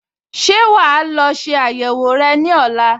Ṣé wà á lọ ṣe àyẹ̀wò rẹ ní ọ̀la?